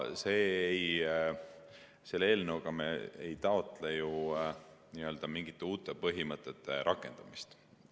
Selle eelnõuga ei taotle me ju mingite uute põhimõtete rakendamist.